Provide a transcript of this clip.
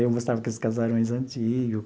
Aí eu gostava daqueles casarões antigo.